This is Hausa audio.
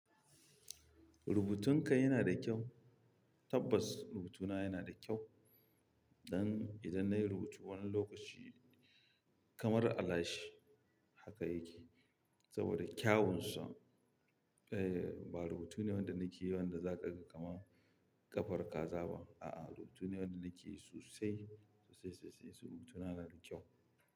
Rubutunka yanada kyau? Tabbas rubutuna yana da kyau. Dan idan nayi rubutu wani lokaci kamar alashe haka yake saboda kyawunsa. Eh ba rubutu ne wanda nakeyi wanda zakaga kamar ƙafar kaza ba. A'a rubutu ne wanda nake yi sosai, sosai sosai sosai. Rubutuna yana da kyau.